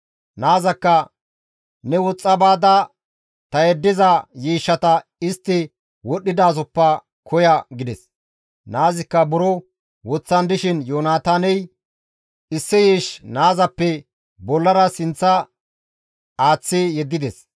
Naazakka, «Ne woxxa baada ta yeddiza yiishshata istti wodhdhidasoppe koya» gides; naazikka buro woththan dishin Yoonataaney issi yiish naazappe bollara sinththa aaththi yeddides.